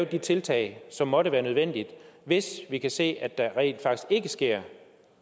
de tiltag som måtte være nødvendige hvis vi kan se at der rent faktisk ikke sker